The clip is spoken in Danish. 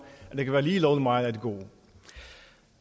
at det være lige lovlig meget af det gode